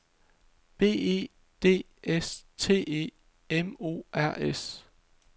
B E D S T E M O R S